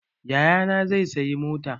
Yayana zai sayi mota